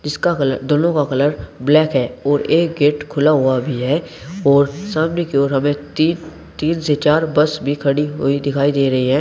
इसका कलर दोनों का कलर ब्लैक है और एक गेट खुला हुआ भी है और सामने की ओर हमें तीन तीन से चार बस भी खड़ी हुई दिखाई दे रही है।